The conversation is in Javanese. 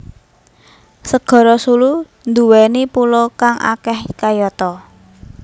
Segara Sulu nduwèni pulo kang akeh kayata